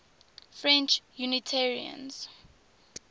french unitarians